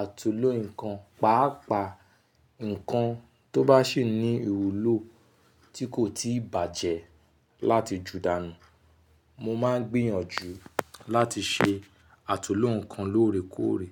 àtunló nǹkan, pàápàá nǹkan tó bá sì ní ìwúlò tí kò tíì bàjẹ́ láti ju dàńù. Mo máa ń gbìyànjú láti ṣe àtunló nǹkan lóòrèkóòrè.